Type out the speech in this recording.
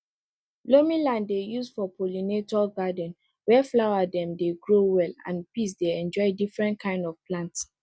loamy land dey used for pollinator garden where flower dem dey grow well and bees dey enjoy different kind of plants